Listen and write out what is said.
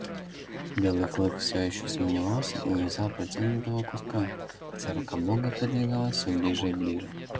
белый клык все ещё сомневался и не взял протянутого куска хотя рука бога подвигалась все ближе и ближе